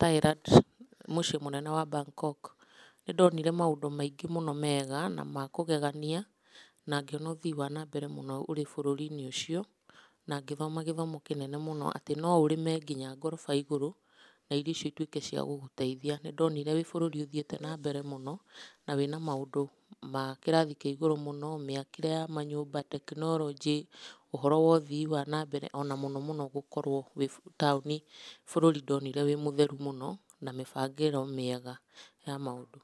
Thailand, mũciĩ mũnene wa Bangkok, nĩ ndonire maũndũ maingĩ mũno mega na makũgegania na ngĩona ũthii wa na mbere ũrĩ bũrũri-inĩ ũcio na ngĩthoma, gĩthomo kĩnene mũno atĩ no ũrĩme nginya ngoroba igũrũ na irio icio ituĩke cia gũgũteithia. Nĩ ndonire wĩ bũrũri ũthiĩte na mbere mũno na wĩna maũndũ ma kĩrathi kĩa igũrũ mũno, mĩakĩre ya manyũmba tekinoronjĩ, ũhoro wa ũthii wa na mbere na mũno mũno gũkorwo ũrĩ taũni bũrũri mũtheru mũno na mũbangĩrĩro mĩega ya maũndũ.